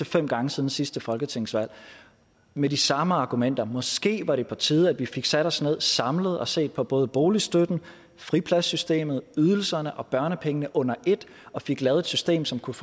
fem gange siden sidste folketingsvalg med de samme argumenter måske var det på tide at vi fik sat os ned og samlet fik set på både boligstøtten fripladssystemet ydelserne og børnepengene under et og fik lavet et system som kunne